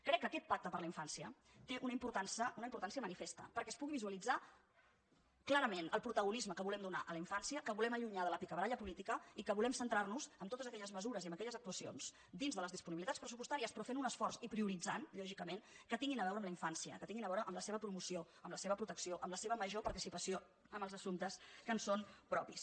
crec que aquest pacte per la infància té una importància manifesta perquè es pugui visualitzar clarament el protagonisme que volem donar a la infància que volem allunyar de la picabaralla política i que volem centrar nos en totes aquelles mesures i en aquelles actuacions dins de les disponibilitats pressupostàries però fent un esforç i prioritzant lògicament que tinguin a veure amb la infància que tinguin a veure amb la seva promoció amb la seva protecció amb la seva major participació en els assumptes que en són propis